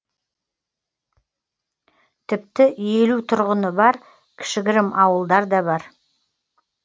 тіпті елу тұрғыны бар кішігірім ауылдар да бар